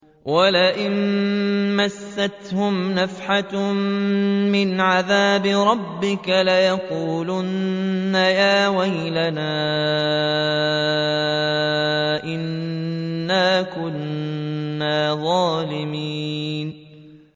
وَلَئِن مَّسَّتْهُمْ نَفْحَةٌ مِّنْ عَذَابِ رَبِّكَ لَيَقُولُنَّ يَا وَيْلَنَا إِنَّا كُنَّا ظَالِمِينَ